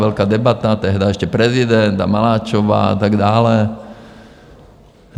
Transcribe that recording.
Velká debata, tehdy ještě prezident a Maláčová a tak dále.